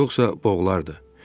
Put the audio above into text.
Yoxsa boğulardı.